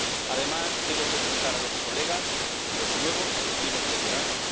Además, debo felicitar a los colegas nuevos y a los veteranos.